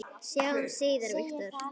Sjáumst síðar, Viktor.